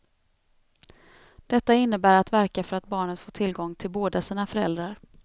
Detta innebär att verka för att barnet får tillgång till båda sina föräldrar.